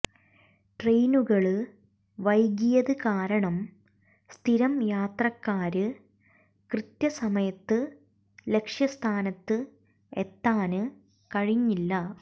ട്രെയിനുകള് വൈകിയത് കാരണം സ്ഥിരം യാത്രക്കാര് കൃത്യസമയത്ത് ലക്ഷ്യസ്ഥാനത്ത് എത്താന് കഴിഞ്ഞില്ല